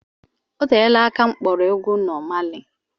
Oteela aka m kpọrọ egwu Nọ Mali